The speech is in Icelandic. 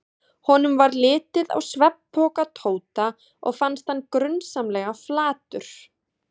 Honum varð litið á svefnpoka Tóta og fannst hann grunsamlega flatur.